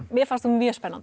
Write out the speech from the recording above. mér fannst hún mjög spennandi